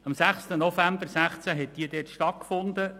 Am 06.11.2016 fand diese Wahl statt.